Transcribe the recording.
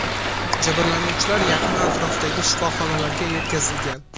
Jabrlanuvchilar yaqin atrofdagi shifoxonalarga yetkazilgan.